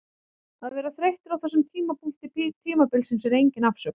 Að vera þreyttur á þessum tímapunkti tímabilsins er engin afsökun.